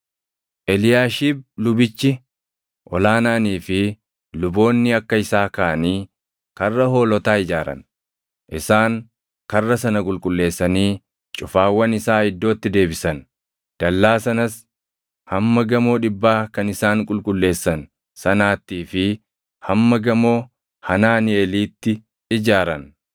Eliyaashiib lubichi ol aanaanii fi luboonni akka isaa kaʼanii Karra Hoolotaa ijaaran. Isaan karra sana qulqulleessanii cufaawwan isaa iddootti deebisan; dallaa sanas hamma Gamoo Dhibbaa kan isaan qulqulleessan sanaattii fi hamma Gamoo Hanaaniʼeelitti ijaaran.